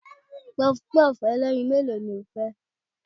Pọpọ́ọ̀fù ẹlẹ́yin mélòó ni o fẹ́?